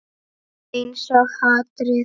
Einsog hatrið.